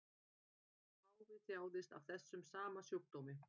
Páfi þjáðist af þessum sama sjúkdómi